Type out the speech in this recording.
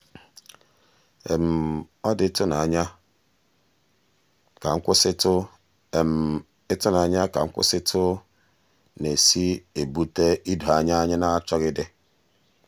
um ọ dị ịtụnanya ka nkwụsịtụ ịtụnanya ka nkwụsịtụ na-esi um ebute idoanya anyị na-achọghịdị.